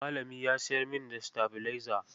Malami ya sayar min da sitabilaiza.